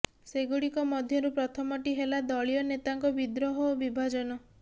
ସେଗୁଡ଼ିକ ମଧ୍ୟରୁ ପ୍ରଥମଟି ହେଲା ଦଳୀୟ ନେତାଙ୍କ ବିଦ୍ରୋହ ଓ ବିଭାଜନ